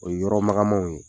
O ye yɔrɔ magamanw ye.